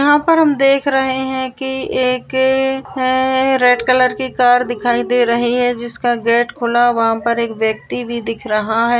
यहाँ पर हम देख रहे है के एक है रेड कलर की कार दिखाए दे रहे है जिसका गेट खुला हुवा वहा पर एक व्यक्ती भी दिख रहा है।